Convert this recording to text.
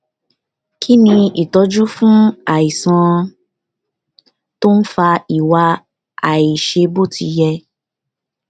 kí ni ìtọ́jú fún àìsàn tó ń fa ìwà àìṣe bó ti yẹ